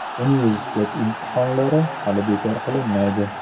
Universitet imtihonlari hali bekor qilinmaydi.